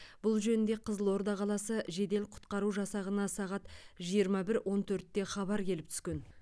бұл жөнінде қызылорда қаласы жедел құтқару жасағына сағат жиырма бір он төртте хабар келіп түскен